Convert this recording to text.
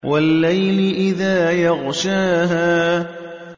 وَاللَّيْلِ إِذَا يَغْشَاهَا